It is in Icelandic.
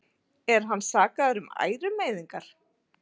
Er hann sakaður um ærumeiðingar